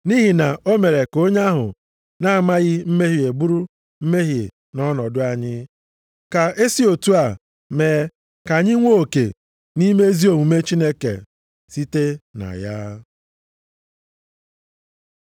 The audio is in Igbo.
Nʼihi na o mere ka onye ahụ na-amaghị mmehie bụrụ mmehie nʼọnọdụ anyị, ka esi otu a mee ka anyị nwee oke nʼime ezi omume Chineke site na ya.